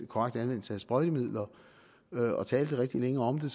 korrekt anvendelse af sprøjtemidler og talte rigtig længe om det